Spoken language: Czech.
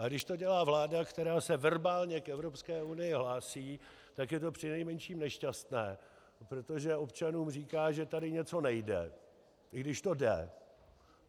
Ale když to dělá vláda, která se verbálně k Evropské unii hlásí, tak je to přinejmenším nešťastné, protože občanům říká, že tady něco nejde, i když to jde.